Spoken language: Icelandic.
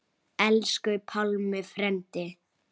Össur þóttist hlæja: Ha ha.